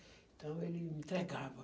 Então, ele entregava.